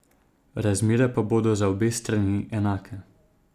Razmere pa bodo za obe strani enake.